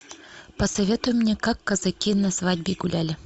посоветуй мне как казаки на свадьбе гуляли